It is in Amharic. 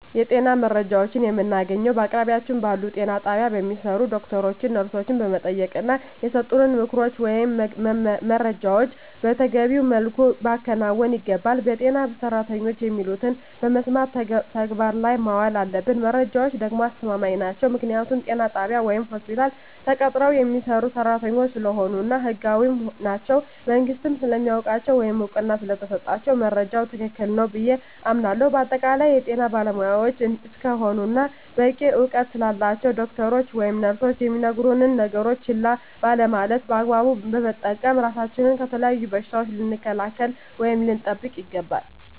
የጤና መረጃዎችን የምናገኘዉ በአቅራቢያችን ባሉ ጤና ጣቢያ በሚሰሩ ዶክተሮችን ነርሶችን በመጠየቅና የሰጡንን ምክሮች ወይም መረጃዎችን መተገቢዉ መልኩ ማከናወን ይገባናል በጤና ሰራተኖች የሚሉትን በመስማት ተግባር ላይ ማዋል አለብን መረጃዎች ደግሞ አስተማማኝ ናቸዉ ምክንያቱም ጤና ጣቢያ ወይም ሆስፒታል ተቀጥረዉ የሚሰሩ ሰራተኞች ስለሆኑ እና ህጋዊም ናቸዉ መንግስትም ስለሚያዉቃቸዉ ወይም እዉቅና ስለተሰጣቸዉ መረጃዉ ትክክል ነዉ ብየ አምናለሁ በአጠቃላይ የጤና ባለሞያዎች እስከሆኑና በቂ እዉቀት ስላላቸዉ ዶክተሮች ወይም ነርሶች የሚነግሩነን ነገሮች ችላ ባለማለት በአግባቡ በመጠቀም ራሳችንን ከተለያዩ በሽታዎች ልንከላከል ወይም ልንጠብቅ ይገባል